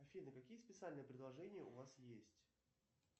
афина какие специальные предложения у вас есть